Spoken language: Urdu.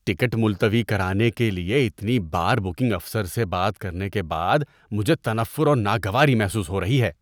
ٹکٹ ملتوی کرانے کے لیے اتنی بار بکنگ افسر سے بات کرنے کے بعد مجھے تنفر اور ناگواری محسوس ہو رہی ہے۔